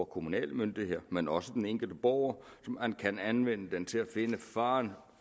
kommunale myndigheder men også for den enkelte borger som kan anvende den til at finde faren